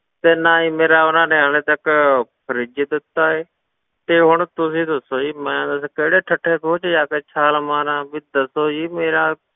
ਤੇ ਨਾ ਹੀ ਮੇਰਾ ਉਹਨਾਂ ਨੇ ਹਾਲੇ ਤੱਕ fridge ਦਿੱਤਾ ਹੈ, ਤੇ ਹੁਣ ਤੁਸੀਂ ਦੱਸੋ ਜੀ ਮੈਂ ਦੱਸ ਕਿਹੜੇ ਢੱਠੇ ਖੂਹ ਵਿੱਚ ਜਾ ਕੇ ਛਾਲ ਮਾਰਾਂ, ਵੀ ਦੱਸੋ ਜੀ ਮੇਰਾ,